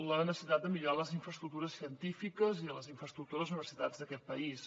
la necessitat de millorar les infraestructures científiques i les infraestructures d’universitats d’aquest país